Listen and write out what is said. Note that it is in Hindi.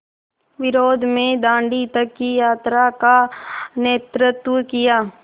विरोध में दाँडी तक की यात्रा का नेतृत्व किया